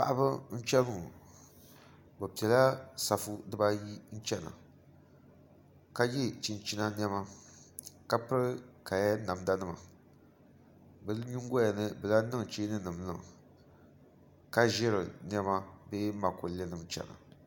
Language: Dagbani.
Paɣaba n chɛni ŋɔ bi piɛla safu dibayi chɛna ka yɛ chinchina niɛma ka piri kaya namda nima bi nyingoya ni bi lahi niŋ cheeni nim niŋ ka ʒiri niɛma bee makollɛ nim chɛna